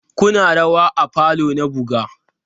Kuna rawa a falo na buga?